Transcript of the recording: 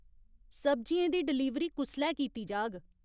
सब्जियें दी डलीवरी कुसलै कीती जाग ?